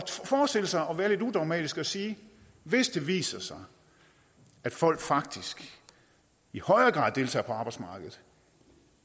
forestille sig det og være lidt udogmatiske og sige hvis det viser sig at folk faktisk i højere grad deltager på arbejdsmarkedet